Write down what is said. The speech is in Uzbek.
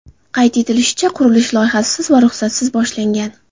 Qayd etilishicha, qurilish loyihasiz va ruxsatsiz boshlangan.